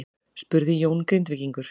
spurði Jón Grindvíkingur.